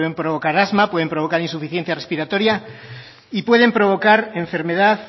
provocar asma puede provocar insuficiencia respiratoria y pueden provocar enfermedad